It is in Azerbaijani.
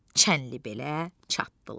Çənlibelə çatdılar.